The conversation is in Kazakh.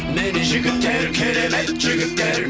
міне жігіттер керемет жігіттер